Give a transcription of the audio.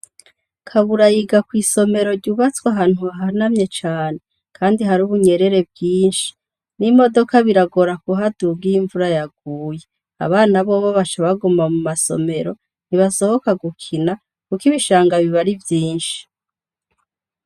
Kabura yiga kw'isomero ryubatswe ahantu hahanamye cane, kandi hari ubunyerere bwinshi; n'imodoka biragora kuhaduga iyo imvura yaguye. Abana bo baca baguma mu masomero, ntibasohoka gukina, kuko ibishanga biba ari vyinshi.